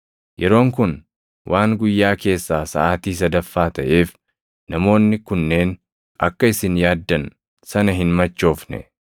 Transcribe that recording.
Yeroon kun waan guyyaa keessaa saʼaatii sadaffaa taʼeef namoonni kunneen akka isin yaaddan sana hin machoofne!